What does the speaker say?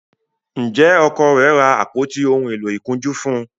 njé Ọkọ rẹ ra àpótí òún èló ìkunjú fún?